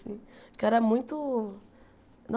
Porque eu era muito